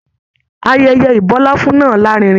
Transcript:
Ayẹyẹ ibọláfún náà larinrin.